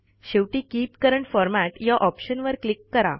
शेवटी keep current format या ऑप्शनवर क्लिक करा